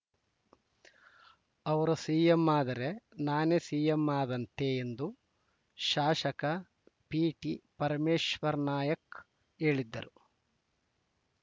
ಅವರು ಸಿಎಂ ಆದರೆ ನಾನೇ ಸಿಎಂ ಆದಂತೆ ಎಂದು ಶಾಶಕ ಪಿಟಿಪರಮೇಶ್ವರ ನಾಯ್ಕ ಹೇಳಿದರು